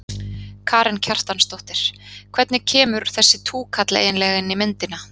Karen Kjartansdóttir: Hvernig kemur þessi túkall eiginlega inn í myndina?